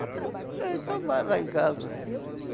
É, então vai lá em casa.